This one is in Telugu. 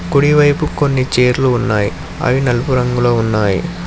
కుడి వైపు కొన్ని చీరలు ఉన్నాయి అవి నలుపు రంగులో ఉన్నాయి.